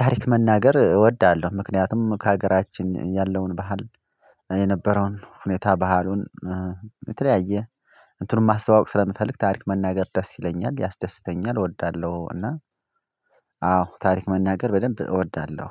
ታሪክ መናገር እወዳለሁ። ምክንያቱም ከሀገራችን ያለውን ባህል የነበረውን ሁኔታ ባህሉን የተለያየ እንትኑን ማስተዋወቅ ስለምፈልግ ታሪክ መናገር ደስ ይለኛል ያስደስተኛል እወዳለሁ። እና አዎ ታሪክ መናገር በደንብ እወዳለሁ።